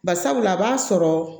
Barisabula a b'a sɔrɔ